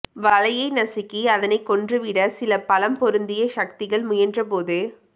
வளையை நசுக்கி அதனை கொன்றுவிட சில பலம் பொருந்திய சக்திகள் முயன்றபோது